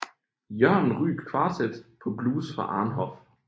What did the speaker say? Jørgen Ryg Quartet på Blues For Arnhoff